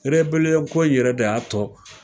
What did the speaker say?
erebeliyɔn ko in yɛrɛ de y'a tɔ